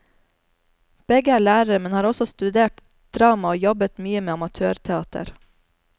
Begge er lærere, men har også studert drama og jobbet mye med amatørteater.